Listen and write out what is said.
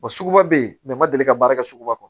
suguba bɛ yen bɛɛ ma deli ka baara kɛ suguba kɔnɔ